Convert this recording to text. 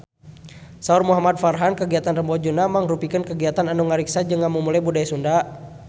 Saur Muhamad Farhan kagiatan Rebo Nyunda mangrupikeun kagiatan anu ngariksa jeung ngamumule budaya Sunda